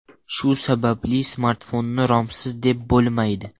Shu sababli smartfonni romsiz deb bo‘lmaydi.